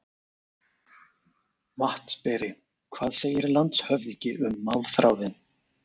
VATNSBERI: Hvað segir landshöfðingi um málþráðinn?